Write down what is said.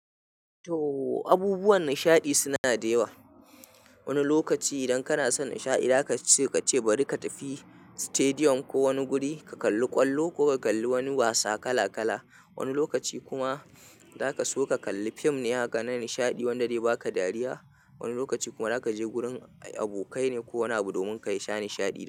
To abubuwan nishadi suna da yawa. Wani lokaci idan kana son nishaɗi zaka ce, ka ce bari ka tafi stadium ko wani guri, ka kalli ƙwallo ko ka kalli wani wasa kala kala. Wani lokaci kuma zaka so ka kalli fim ne, haka na nishaɗi wanda dai baka dariya. Wani lokaci kuma zaka je gurin abokai ne ko wani abu domin ka yi sha nishaɗi da su.